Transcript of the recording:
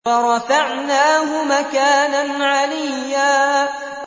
وَرَفَعْنَاهُ مَكَانًا عَلِيًّا